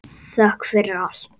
Þökk fyrir allt.